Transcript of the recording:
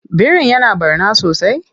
Birin ya na ɓarna sosai?